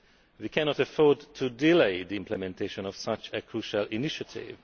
We cannot afford to delay the implementation of such a crucial initiative.